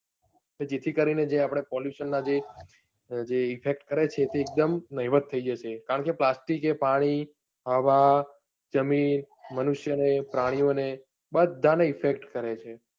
જેથી કરીને જે આપણે pollution ના જે effect કરે છે તે એકદમ નહિવત થઇ જશે. કારણકે plastic એ પાણી, હવા, જમીન, મનુષ્ય, ને પ્રાણીઓને બધાને effect કરેછે.